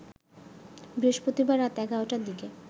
বৃহস্পতিবার রাত ১১টার দিকে